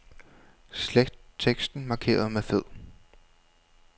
Slet teksten markeret med fed.